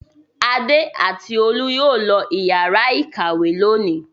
Adé àti Olú yóò lọ ìyàrá-ìkàwé lónìí.